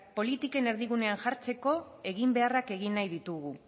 politiken erdigunean jartzeko eginbeharrak egin nahi ditugu